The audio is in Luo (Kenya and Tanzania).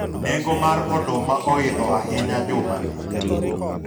nengo mar oduma oidho ahinya juma ni